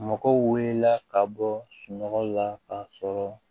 Mɔgɔw wulila ka bɔ sunɔgɔ la ka sɔrɔ